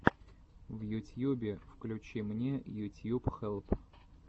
в ютьюбе включи мне ютьюб хелп